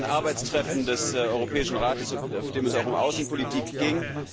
Das war ja ein Arbeitstreffen des Europäischen Rates, auf dem es auch um Außenpolitik ging.